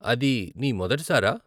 అది నీ మొదటిసారా ?